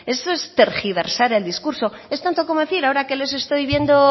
eso es tergiversar el discurso es tanto como decir ahora que les estoy viendo